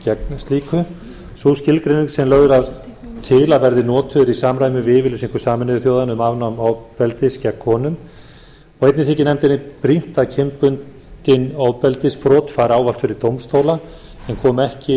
gegn slíku sú skilgreining sem lögð var til að verði notuð í samræmi við yfirlýsingu sameinuðu þjóðanna um afnám ofbeldis gegn konum og einnig þykir nefndinni brýnt að kynbundin ofbeldisbrot fari ávallt fyrir dómstóla en komi ekki